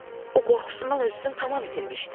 O qorxusundan özünü tam itirmişdi.